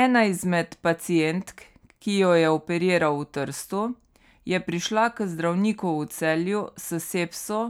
Ena izmed pacientk, ki jo je operiral v Trstu, je prišla k zdravniku v Celju s sepso,